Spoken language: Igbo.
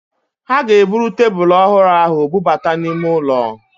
Ha ga-eburu tebulu ọhụrụ ahụ bubata n'ime ụlọ